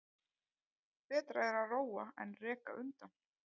Betra er að róa en reka undan.